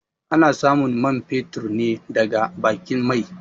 A na samun man fetur ne daga baƙin mai